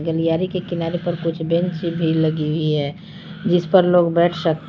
गलियारे के किनारे पर कुछ बेंच भी लगी हुई है जिस पर लोग बैठ सकते हैं।